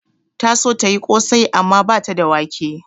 Ta so tayi ƙosai amma bata da wake